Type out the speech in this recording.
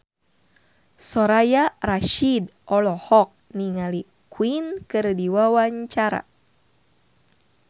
Soraya Rasyid olohok ningali Queen keur diwawancara